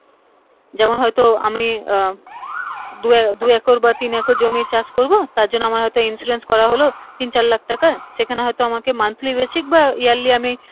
যেমন হয় তো আমি আহ দু একর বা তিন একর জমির চাষ করবো তার জন্য আমার হয়তো insurance করা হলো তিন চার লাখ টাকার সেখানে হয় তো আমাকে monthly-basic বা yearly